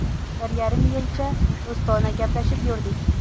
Bir yarim yilcha do‘stona gaplashib yurdik.